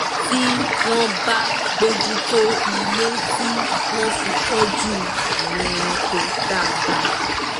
tí wọ́n bá bójú tó ilé tí wọ́n fi tọ́jú àwọn ẹranko dáadáa